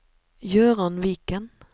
Gøran Viken